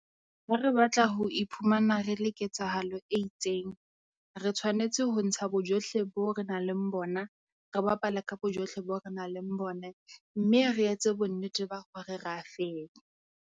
Ho re re batla ho iphumana re le ketsahalo e itseng, re tshwanetse ho ntsha bojohle bo renang le bona, re bapale ka bojohle bo renang le bone mme re etse bonnete ba hore re a fenya.